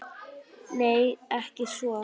Nei, ekki svo